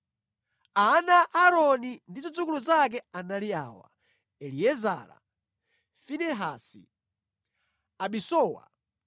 Ana a Aaroni ndi zidzukulu zake anali awa: Eliezara, Finehasi, Abisuwa,